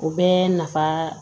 O bɛɛ nafa